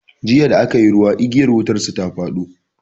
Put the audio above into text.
Jiya da aka yi ruwa igiyar wutar su ta fado.